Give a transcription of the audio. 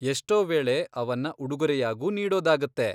ಎಷ್ಟೋ ವೇಳೆ ಅವನ್ನ ಉಡುಗೊರೆಯಾಗೂ ನೀಡೋದಾಗತ್ತೆ.